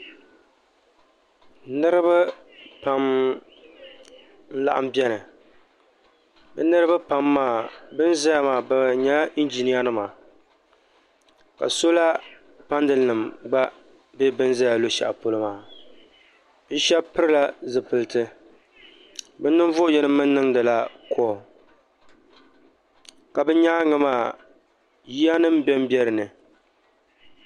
Niriba pam n laɣim biɛni bɛ niriba pam maa bɛni zaya maa bɛ nyɛla njinia nima ka sola panali nima gba be bini be luɣushɛli polo maa bɛ shɛba pilila zipiliti bɛ ninvuɣu yini mee niŋdila kool ka bɛ nyaaga maa yiya nima bembe dinni.